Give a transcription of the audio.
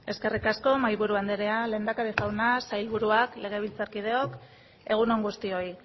eskerrik asko mahaiburu andrea lehendakari jauna sailburuak legebiltzar kideok egun on guztioi